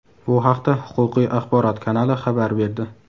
Bu haqda "Huquqiy axborot" kanali xabar berdi.